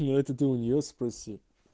ну это ты у нее спроси